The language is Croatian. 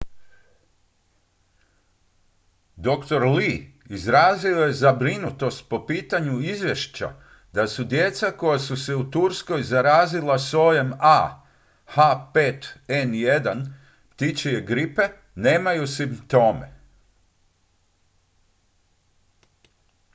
dr. lee izrazio je zabrinutost po pitanju izvješća da djeca koja su se u turskoj zarazila sojem ah5n1 ptičje gripe nemaju simptome